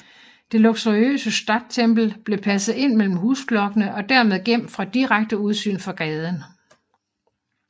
Det luxuriøse Stadttempel blev passet ind mellem husblokkene og dermed gemt fra direkte udsyn fra gaden